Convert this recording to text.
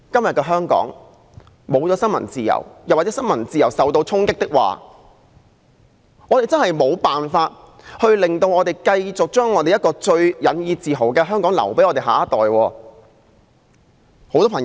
如果香港失去了新聞自由，又或新聞自由受到衝擊，我們真的無法把一個我們最引以自豪的香港留給我們的下一代。